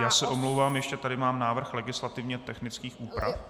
Já s omlouvám, ještě tady mám návrh legislativně technických úprav.